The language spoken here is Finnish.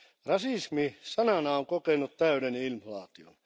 Rasismi sanana on kokenut täyden inflaation.